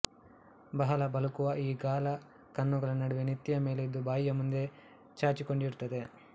ಬಹಳ ಬಳುಕುವ ಈ ಗಾಳ ಕಣ್ಣುಗಳ ನಡುವೆ ನೆತ್ತಿಯ ಮೇಲೆ ಇದ್ದು ಬಾಯಿಯ ಮುಂದೆ ಚಾಚಿಕೊಂಡಿರುತ್ತದೆ